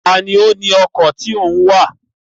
Ta ni ó ni ọkọ̀ tí ó ń wá à?